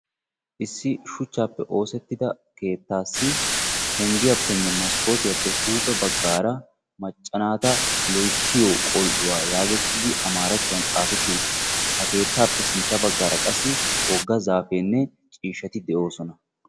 Issi shuchchaappe oosettida keettaassi penggiyappenne maskootiyappe huuphe baggaara "macca naata loyittiyo qol"uwa" yaagettidi amaarattuwan xaafetti uttis. Ha keettaappe sintta baggaara qassi wogga zaafeenne ciishshati de'oosona.